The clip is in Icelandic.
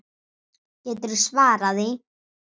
Geturðu svarað því?